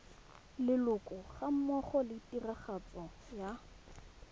leloko gammogo le tiragatso ya